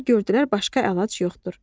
Uşaqlar gördülər başqa əlac yoxdur.